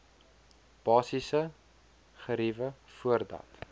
basiese geriewe voordat